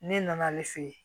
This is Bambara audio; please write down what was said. Ne nana ale fɛ yen